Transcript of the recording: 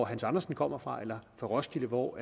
hans andersen kommer fra eller fra roskilde hvor